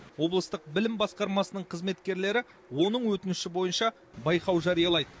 облыстық білім басқармасының қызметкерлері оның өтініші бойынша байқау жариялайды